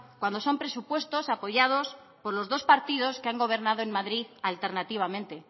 cuando son presupuestos apoyados por los dos partidos que han gobernado en madrid alternativamente